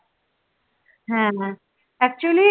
হ্যাঁ হ্যাঁ actually